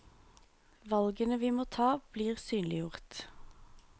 Valgene vi må ta, blir synliggjort.